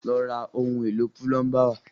Lọ ra ohun èlò púlọ́ńbà wá!